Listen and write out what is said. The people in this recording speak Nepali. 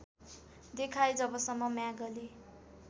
देखाए जबसम्म म्यागले